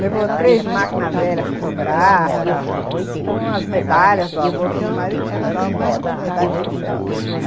Levou três máquinas velhas fotográficas, umas medalhas do avô, porque o meu marido tinha um monte de medalha e troféu, né?